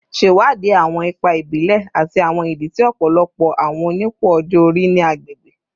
Ṣewadii awọn ipa ibile ati awọn idi ti ọpọlọpọ awọn onipò ọjọ-ori ni agbegbe